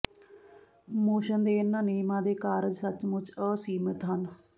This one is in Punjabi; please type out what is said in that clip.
ਮੋਸ਼ਨ ਦੇ ਇਹਨਾਂ ਨਿਯਮਾਂ ਦੇ ਕਾਰਜ ਸੱਚਮੁੱਚ ਅਸੀਮਿਤ ਹਨ